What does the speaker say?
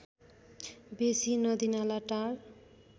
बेसी नदीनाला टार